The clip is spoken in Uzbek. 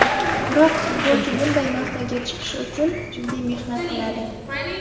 Biroq futbolchi bunday mavqega chiqishi uchun jiddiy mehnat qiladi.